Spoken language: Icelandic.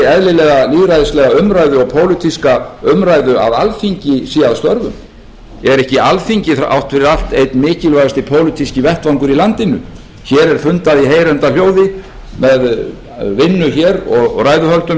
eðlilegar lýðræðislega umræðu og pólitíska umræðu að alþingi sé að störfum er ekki alþingi þrátt fyrir allt einn mikilvægasti pólitíski vettvangur í landinu hér er fundað í heyranda hljóði með vinnu hér og ræðuhöldum